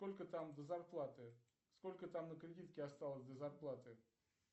сколько там до зарплаты сколько там на кредитке осталось до зарплаты